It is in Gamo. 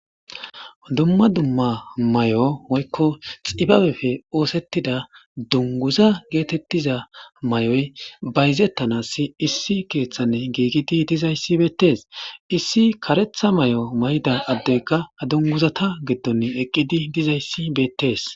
dumma dumma may7o hoykko xibabefe oosettida dunguza geetettiza may7oy bayzettanassi issi keeththanne giigidi dizayssi beettes issi karetha may7o may7ida addeyka dunguzata geddon eqqidi dizayssi beettees